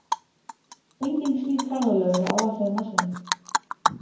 Engin slík ferðalög eru áætluð á næstunni.